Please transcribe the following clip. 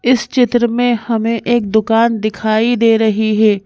इस चित्र में हमें एक दुकान दिखाई दे रही है।